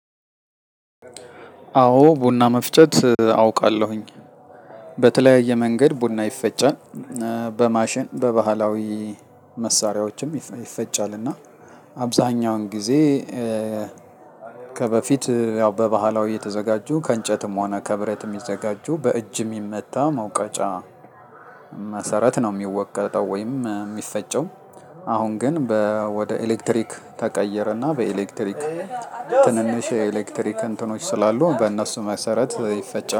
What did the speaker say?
አዎ ቡና መፍጨት አውቃለሁኝ። በተለያየ መንገድ ቡና ይፈጫል። በማሽን በባህላዊ መሳሪያዎችም ይፈጫል እና አብዛኛውን ጊዜ። ከበፊት ያው በባህላዊ የተዘጋጁ ከእንጨትም ሆነ ከብረትም የሚዘጋጁ በእጅ የሚመታ መውቀጫ መሰረት ነው የሚወቀጠው ወይም የሚፈጨው። አሁን ግን ወደ ኤሌክትሪክ ተቀየረና በኤሌክትሪክ ትንንሽ የኤሌክትሪክ እንትኖች ስላሉ በእነሱ መሰረት ይፈጫል